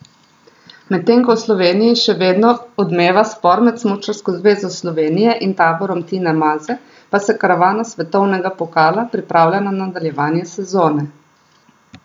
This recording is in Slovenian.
Medtem ko v Sloveniji še vedno odmeva spor med Smučarsko zvezo Slovenije in taborom Tine Maze, pa se karavana svetovnega pokala pripravlja na nadaljevanje sezone.